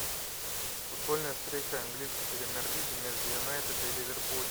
футбольная встреча английской премьер лиги между юнайтед и ливерпуль